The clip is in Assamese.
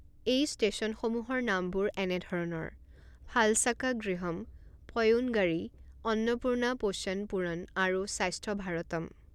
এই ষ্টেচনসমূহৰ নামবোৰ এনেধৰণৰ ফালশাকা গৃহম পয়োনগাৰী অন্নপূৰ্ণা পোষণ পূৰণ আৰু স্বাস্থ্য ভাৰতম।